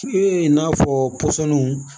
i n'a fɔ pɔsɔnniw